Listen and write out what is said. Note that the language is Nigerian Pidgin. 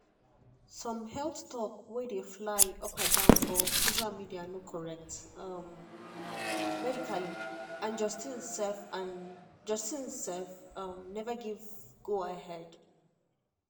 some health talk wey dey fly um for social media no correct medically and justin self and justin self um never give go-ahead